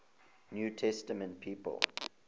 new testament people